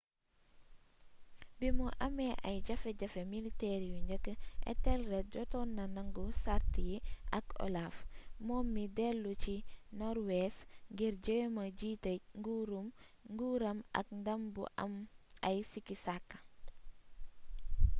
bimu amee ay jafe-jafe militeer yu njëkk ethelred jotoon na nangu sàrt yi ak olaf moom mii dellu ca norwees ngir jéema jiitee nguuram ak ndam bu am ay sikki-sakka